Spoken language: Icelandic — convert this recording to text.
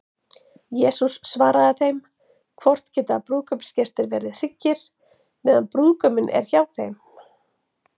Jesús svaraði þeim: Hvort geta brúðkaupsgestir verið hryggir, meðan brúðguminn er hjá þeim?